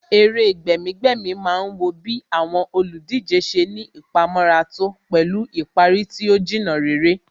Eré gbẹ̀mí-gbẹ̀mí má ń wọ bí àwọn olùdíje ṣe ní ìpamọ́ra tó pẹ̀lú ìparí tí ó Jìnnà réré